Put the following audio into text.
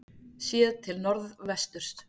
Séð til norðvesturs.